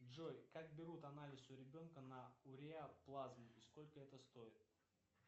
джой как берут анализ у ребенка на уреаплазму и сколько это стоит